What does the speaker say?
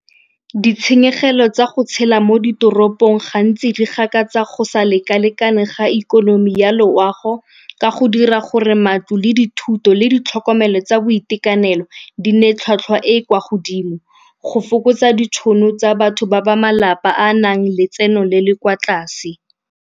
Ditshenyegelo tsa go tshela mo ditoropong gantsi re gakatsa go sa leka-lekane ga ikonomi ya loago ka go dira gore matlo le dithuto le ditlhokomelo tsa boitekanelo di nne tlhwatlhwa e e kwa godimo, go fokotsa ditšhono tsa batho ba ba malapa a nang letseno le le kwa tlase.